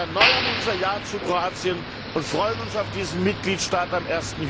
Wir erneuern unser Ja zu Kroatien und freuen uns auf diesen Mitgliedstaat am